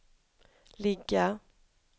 ligga